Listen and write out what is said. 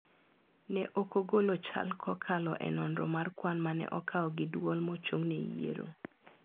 Ne ok ogolo chal kokalo e nonro mar kwan mane okaw gi duol mochung ne yiero.